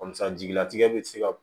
jigilatigɛ bɛ se ka